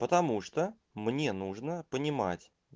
потому что мне нужно понимать